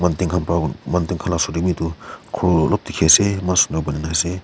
Mathen khan usor de etu khur ulob deke ase ase.